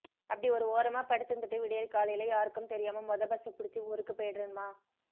அப்டி ஒரு ஓரமா படுத்திருந்துட்டு விடியற்காலைல யாருக்கும் தெரியாம மொத பஸ்ஸ பிடிச்சி ஊருக்கு போயிடுறேன் மா